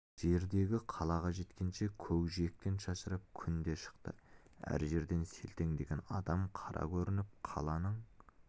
жердегі қалаға жеткенше көкжиектен шашырап күн де шықты әр жерден селтеңдеген адам қара көрініп қаланың